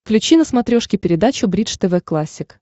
включи на смотрешке передачу бридж тв классик